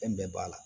Fɛn bɛɛ b'a la